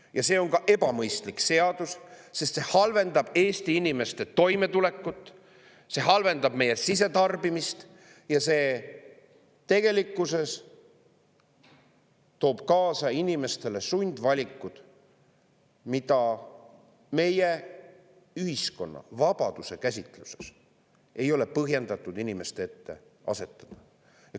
Ja see on ebamõistlik seadus, sest see halvendab Eesti inimeste toimetulekut, see halvendab meie sisetarbimist ja see tegelikkuses toob kaasa inimestele sundvalikud, mida meie ühiskonna vabaduse käsitluses ei ole põhjendatud inimeste ette asetada.